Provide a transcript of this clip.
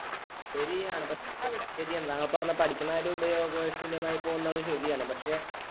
ശെരിയാണ് താങ്കൾ പറഞ്ഞ പഠിക്കുന്ന കാര്യം ഉപയോഗ ശൂന്യം ആയി പോകുന്നത് ശെരിയാണ്. പക്ഷെ